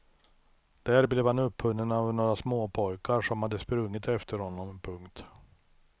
Där blev han upphunnen av några småpojkar som hade sprungit efter honom. punkt